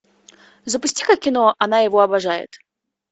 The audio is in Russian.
запусти ка кино она его обожает